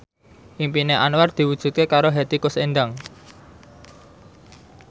impine Anwar diwujudke karo Hetty Koes Endang